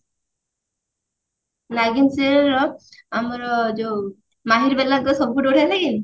Naagin serial ର ଆମର ଯଉ ମାହିରବେଲାଙ୍କ ସବୁ ଥୁ ବଢିଆ ନୁହେଁ କି?